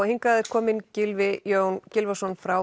hingað er kominn Gylfi Jón Gylfason frá